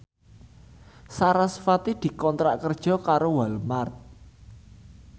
sarasvati dikontrak kerja karo Walmart